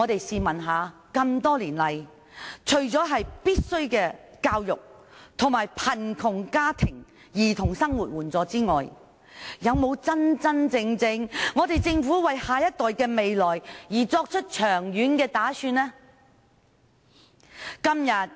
試問多年來，政府除了提供必需的教育，以及為貧窮家庭的兒童提供生活援助之外，有否真正為下一代的未來作長遠打算呢？